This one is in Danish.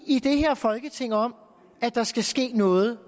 i det her folketing om at der skal ske noget